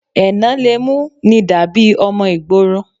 Ẹnà le mú ni dàbí ọmọ ìgboro